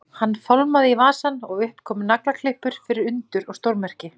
Hann fálmaði í vasann og upp komu naglaklippur fyrir undur og stórmerki.